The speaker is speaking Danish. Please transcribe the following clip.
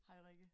Hej Rikke